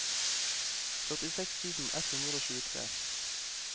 førtiseks tusen ett hundre og tjuetre